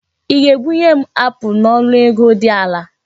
Ị ga-ebunye m apụl n'ọnụ ego dị ala?